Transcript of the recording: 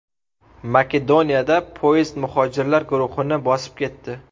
Makedoniyada poyezd muhojirlar guruhini bosib ketdi.